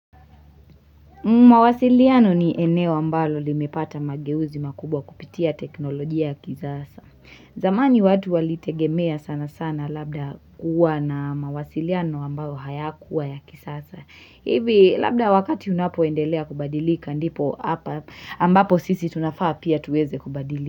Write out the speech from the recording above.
Mawasiliano ni eneo ambalo limepata mageuzi makubwa kupitia teknolojia ya kisasa. Zamani watu walitegemea sana sana labda kuwa na mawasiliano ambayo hayakuwa ya kisasa. Hivi labda wakati unapoendelea kubadilika ndipo hapa ambapo sisi tunafaa pia tuweze kubadilika.